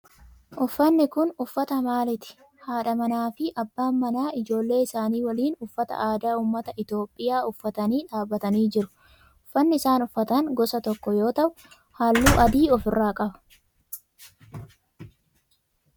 Uffanni kun uffata maalitii? Haadha manaa fi abbaan manaa ijoollee isaanii waliin uffata aadaa ummata Itiyoophiyaa uffatanii dhaabbatanii jiru. Uffanni isaan uffatan gosa tokko yoo ta'u halluu adii of irraa qaba.